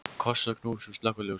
Koss og knús og slökkva ljósið.